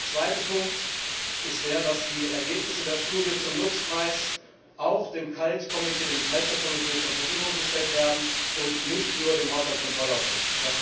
Der zweite Punkt ist der, dass die Ergebnisse der Studie zum LUX Preis auch dem Kulturausschuss zur Verfügung gestellt werden, und nicht nur dem Haushaltskontrollausschuss.